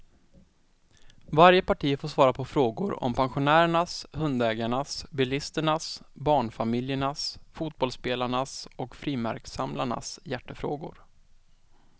Varje parti får svara på frågor om pensionärernas, hundägarnas, bilisternas, barnfamiljernas, fotbollsspelarnas och frimärkssamlarnas hjärtefrågor.